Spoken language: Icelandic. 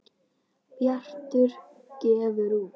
Bjartur gefur út.